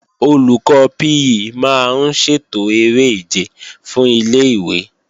Olùkọ́ PE máa ń ṣètò eré ìje fún ilé-ìwé